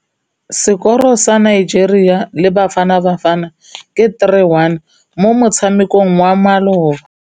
Sekôrô sa Nigeria le Bafanabafana ke 3-1 mo motshamekong wa malôba.